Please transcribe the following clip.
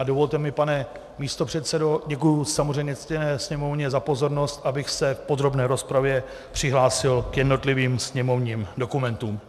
A dovolte mi, pane místopředsedo, děkuji samozřejmě ctěné sněmovně za pozornost, abych se v podrobné rozpravě přihlásil k jednotlivým sněmovním dokumentům.